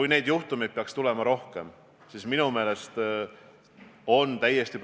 Me peame aga arvestama seda, et ka Euroopa-siseselt, Euroopa Liidu siseselt on riigid väga erinevad.